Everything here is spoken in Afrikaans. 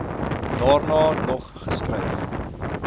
daarna nog geskryf